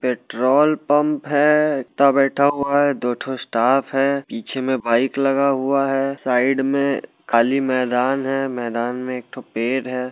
Petrol pump हैं बैठा हुआ हैं दोठो स्टाफ है पीछे में बाईक लगा हुआ हैं साईड में खाली मैदान है मैदान में एकठो पेड़ है।